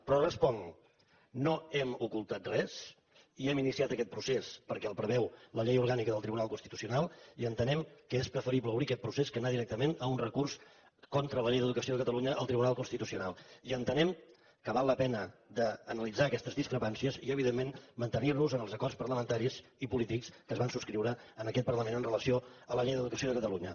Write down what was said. però responc no hem ocultat res i hem iniciat aquest procés perquè el preveu la llei orgànica del tribunal constitucional i entenem que és preferible obrir aquest procés que anar directament a un recurs contra la llei d’educació de catalunya al tribunal constitucional i entenem que val la pena analitzar aquestes discrepàncies i evidentment mantenir nos en els acords parlamentaris i polítics que es van subscriure en aquest parlament amb relació a la llei d’educació de catalunya